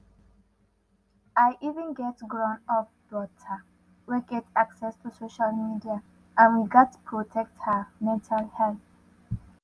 i even get grown-up daughter wey get access to social media and we gatz protect her mental health